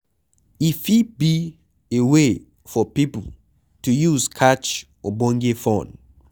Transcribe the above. E fit be a way for pipo to use catch ogbonge fun